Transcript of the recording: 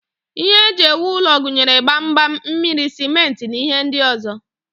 Ihe eji ewu ụlọ gụnyere gbamgbam, mmiri, simenti, na ihe ndị ọzọ